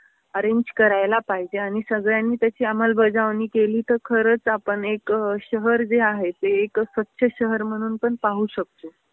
Arrange करायला पाहिजे आणि सगळ्यांनी त्याची अम्मलबजावणी केली त खरच आपण एक शहर जे आहे ते एक स्वच्छ शहर म्हणून पण पाहू शकतो.